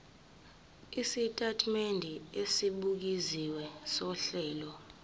isitatimende esibukeziwe sohlelo